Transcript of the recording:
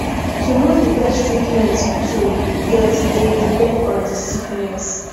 to know di best treatment to get dey depend on the sickness